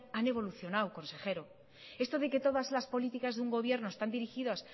han evolucionado consejero esto de que todas las políticas de un gobierno están dirigidas